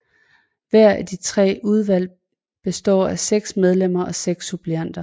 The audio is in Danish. Hver af de tre udvalg består af 6 medlemmer og 6 suppleanter